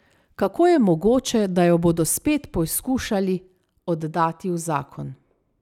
Kako je mogoče, da jo bodo spet poskušali oddati v zakon?